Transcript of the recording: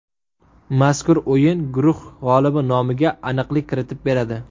Mazkur o‘yin guruh g‘olibi nomiga aniqlik kiritib beradi.